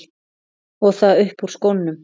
Og það upp úr skónum!